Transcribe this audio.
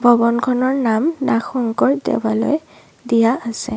ভৱনখনৰ নাম নাগশংকৰ দেৱালয় দিয়া আছে।